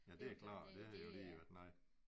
Ja det jo klart det havde jo lige været noget